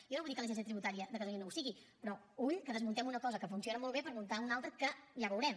jo no vull dir que l’agència tributària de catalunya no ho sigui però ull que desmuntem una cosa que funciona molt bé per muntar ne una altra que ja veurem